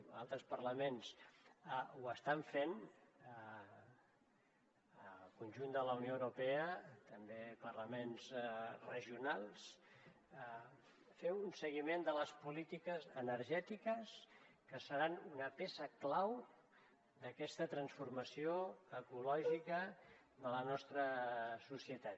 altres parlaments ho estan fent en el conjunt de la unió europea també parlaments regionals fer un seguiment de les polítiques energètiques que seran una peça clau d’aquesta transformació ecològica a la nostra societat